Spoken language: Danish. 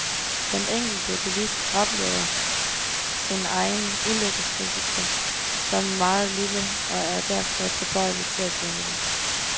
Den enkelte bilist oplever sin egen ulykkesrisiko som meget lille og er derfor tilbøjelig til at glemme den.